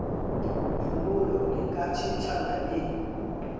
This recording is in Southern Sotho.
phomolo le ka tjhentjhana le